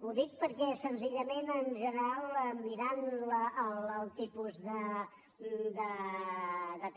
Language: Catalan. ho dic perquè senzillament en general mirant el tipus de